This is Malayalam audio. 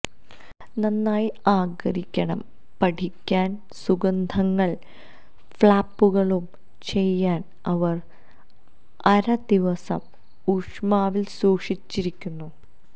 നന്നായി ആഗിരണം പഠിയ്ക്കാന് സുഗന്ധങ്ങൾ ഫ്ലാപ്പുകളുടെ ചെയ്യാൻ അവർ അര ദിവസം ഊഷ്മാവിൽ സൂക്ഷിച്ചിരിക്കുന്നു